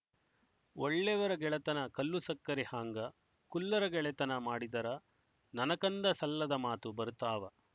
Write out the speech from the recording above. ಒಳ್ಳೆವರ ಗೆಳೆತನ ಕಲ್ಲುಸಕ್ಕರಿ ಹಾಂಗ ಕುಲ್ಲರಗೆಳೆತನ ಮಾಡಿದರ ನನಕಂದ ಸಲ್ಲದ ಮಾತು ಬರುತಾವ